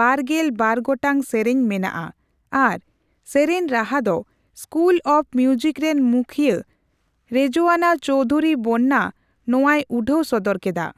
ᱵᱟᱨᱜᱮᱞ ᱵᱟᱨ ᱜᱚᱴᱟᱝ ᱥᱮᱨᱮᱧ ᱢᱮᱱᱟᱜᱼᱟ ᱟᱨ ᱥᱮᱨᱮᱧ ᱨᱟᱦᱟ ᱫᱚ ᱥᱠᱩᱞ ᱚᱯ ᱢᱤᱭᱩᱡᱤᱠ ᱨᱮᱱ ᱢᱩᱠᱷᱤᱭᱟᱹ ᱨᱮᱡᱳᱭᱟᱱᱟ ᱪᱳᱣᱫᱷᱚᱨᱤ ᱵᱚᱱᱱᱟ ᱱᱚᱣᱟᱭ ᱩᱰᱷᱟᱹᱣ ᱥᱚᱫᱚᱨ ᱠᱮᱫᱟ ᱾